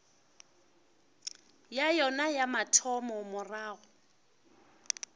ya yona ya mathomo morago